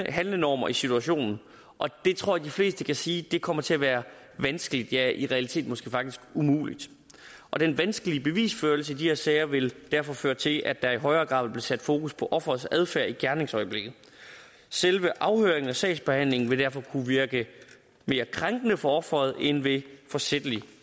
handlenormer i situationen og det tror jeg de fleste kan sige kommer til at være vanskeligt ja i realiteten måske faktisk umuligt og den vanskelige bevisførelse i de her sager vil derfor føre til at der i højere grad vil blive sat fokus på offerets adfærd i gerningsøjeblikket selve afhøringen og sagsbehandlingen vil derfor kunne virke mere krænkende for offeret end ved forsætlig